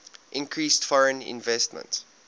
increased foreign investment